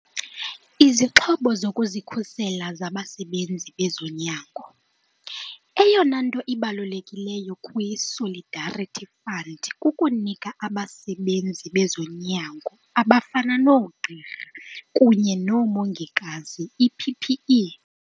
Izixhobo zokuzikhusela zabasebenzi bezonyango. Eyona nto ibalulekileyo kwi-Solidarity Fund kukunika abasebenzi bezonyango abafana noogqirha kunye nabongikazi ii-PPE.